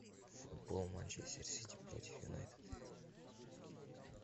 футбол манчестер сити против юнайтед